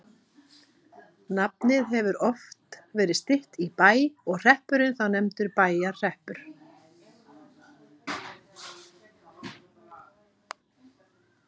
Nafnið hefur oft verið stytt í Bæ og hreppurinn þá nefndur Bæjarhreppur.